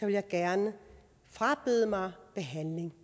jeg gerne frabede mig behandling